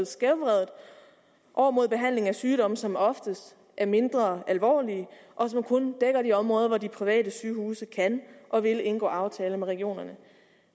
skævvredet over mod behandling af sygdomme som oftest er mindre alvorlige og som kun dækker de områder hvor de private sygehuse kan og vil indgå aftaler med regionerne